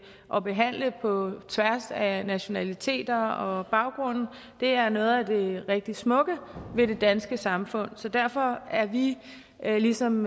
og behandle på tværs af nationaliteter og baggrunde er noget af det rigtig smukke ved det danske samfund så derfor er vi ligesom